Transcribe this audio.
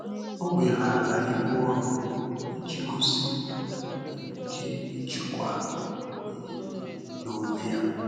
Ọ́ wèghààrà íbù ọrụ́ ìjí gósí nà yá nwèrè íké íjíkwáá ìhè níílé n’ónwé yá.